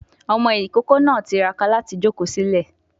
Ọmọ ìkókó náà tiraka láti jòkó sílẹ̀